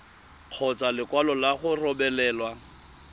kgotsa lekwalo la go rebolelwa